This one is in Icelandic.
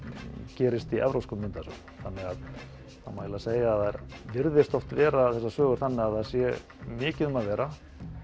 gerist í evrópskum myndasögum þannig að það má segja að þær virðist oft vera þessar sögur þannig að það sé mikið um að vera